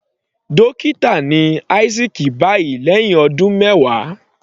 Dókítà ni Isaac báyìí lẹ́hìn ọdún mẹwàá.